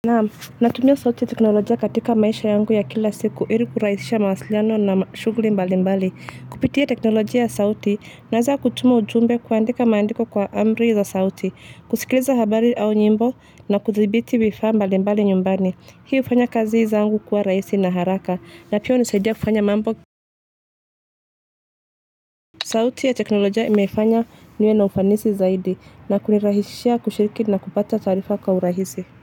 Naam natumio sauti teknolojia katika maisha yangu ya kila siku iri kuraisisha mawasiliano na shugli mbali mbali kupitia teknolojia ya sauti nawezaa kutuma ujumbe kuandika maandiko kwa amri za sauti kusikiliza habari au nyimbo na kuthibiti wifaa mbali mbali nyumbani hii ufanya kazi zaangu kuwa raisi na haraka na pia unisaidia kufanya mambo sauti ya teknolojia imefanya niwe na ufanisi zaidi na kunirahishia kushiriki na kupata tarifa kwa urahisi.